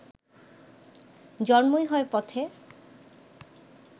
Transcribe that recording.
জন্মই হয় পথে